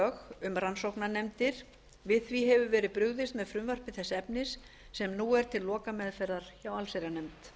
um rannsóknarnefndir við því hefur verið brugðist með frumvarpi þess efnis sem nú er til lokameðferðar hjá allsherjarnefnd